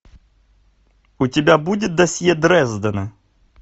у тебя будет досье дрездена